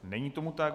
Není tomu tak.